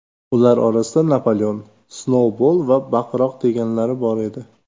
Ular orasida Napoleon, Snoubol va Baqiroq deganlari bor edi.